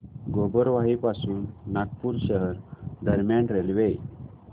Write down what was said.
गोबरवाही पासून नागपूर शहर दरम्यान रेल्वे